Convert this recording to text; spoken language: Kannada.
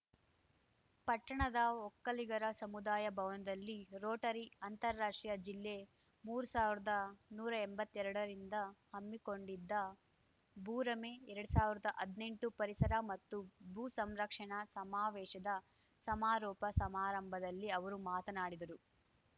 ಪಟ್ಟಣದ ಒಕ್ಕಲಿಗರ ಸಮುದಾಯ ಭವನದಲ್ಲಿ ರೋಟರಿ ಅಂತಾರಾಷ್ಟ್ರೀಯ ಜಿಲ್ಲೆಮೂರು ಸಾವಿರ್ದಾ ನೂರಾ ಎಂಬತ್ತೆರಡರಿಂದ ಹಮ್ಮಿಕೊಂಡಿದ್ದ ಭೂರಮೆಎರಡ್ ಸಾವಿರ್ದಾ ಹದ್ನೆಂಟು ಪರಿಸರ ಮತ್ತು ಭೂ ಸಂರಕ್ಷಣಾ ಸಮಾವೇಶದ ಸಮಾರೋಪ ಸಮಾರಂಭದಲ್ಲಿ ಅವರು ಮಾತನಾಡಿದರು